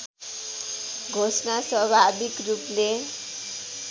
घोषणा स्वाभाविक रूपले